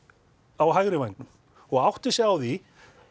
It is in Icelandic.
á hægri vængnum og átti sig á því